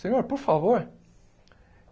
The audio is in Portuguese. Senhor, por favor?